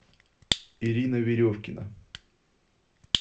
ирина веревкина